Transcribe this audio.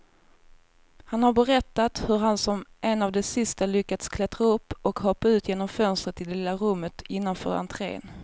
Han har berättat hur han som en av de sista lyckas klättra upp och hoppa ut genom fönstret i det lilla rummet innanför entrén.